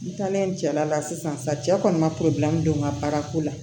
N taalen jara la sisan cɛ kɔni ma don n ka baara ko la